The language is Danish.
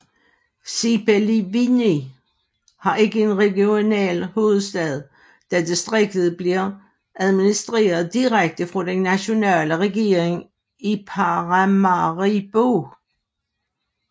Sipaliwini har ikke en regional hovedstad da distriktet bliver administreret direkte fra den nationale regering i Paramaribo